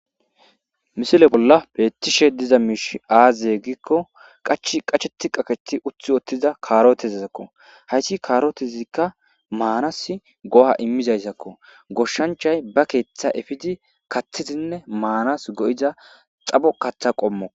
Misile bolla beetishe diza miish aazye giikko qach qacheti qakethi uthi ottiza kaarotezizakko hayti kaarotezikka maanas go7a immizayssakko goshshanchay ba keeththa efidi kathidinne maanas go7iza xabo katha qommo.